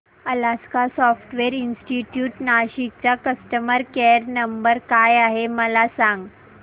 Alaska software institute Nashik चा customer care number काय आहे मला सांग